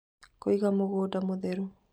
Kũiga Mũgũnda Mũtheru